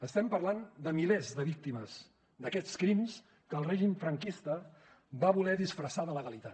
estem parlant de milers de víctimes d’aquests crims que el règim franquista va voler disfressar de legalitat